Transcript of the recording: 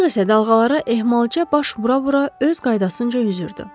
Qayıq isə dalğalara ehmalca baş vura-vura öz qaydasınca üzürdü.